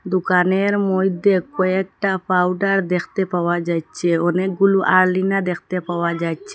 দুকানের মইধ্যে কয়েকটা পাউডার দেখতে পাওয়া যাইচ্ছে অনেকগুলো আরলিনার দেখতে পাওয়া যাচ্ছে।